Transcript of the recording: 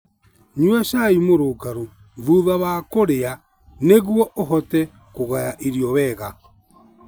Nyua cai mũrũngarũ thutha wa kũrĩa nĩguo ũhote kũgaya irio wega.